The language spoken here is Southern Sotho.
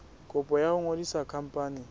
kopo ya ho ngodisa khampani